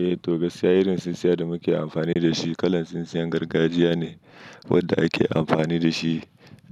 Eh, to gaskiya irin tsintsiya da muke amfani da shi kalan tsintsiyan gargajiya ne wadda ake amfani da shi